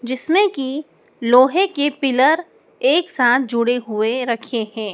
जिसमें की लोहे के पिलर एक साथ जुड़े हुए रखे हैं।